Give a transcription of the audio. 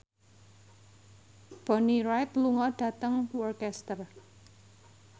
Bonnie Wright lunga dhateng Worcester